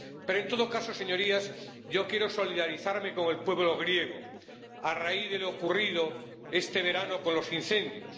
Pero, en todo caso, señorías, yo quiero solidarizarme con el pueblo griego a raíz de lo ocurrido este verano con los incendios.